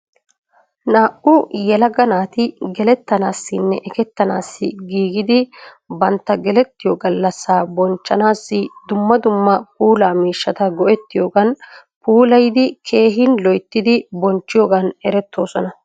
Naa"u yelaga naati gelettanaassinne ekettanaassi giigidi batta gelettiyo gallasaa bonchchanaassi dumma dumma puulaa miishshata go'ettiyogan puulayidi keehin loyittidi bonchchiyoogan eretoosona.